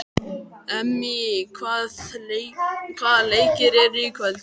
Emmý, hvaða leikir eru í kvöld?